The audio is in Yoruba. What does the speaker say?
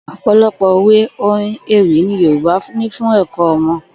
Ò̩pò̩lo̩pò̩ òwe, orin, ewì ni Yorùbá ní fún è̩kó̩ o̩mo̩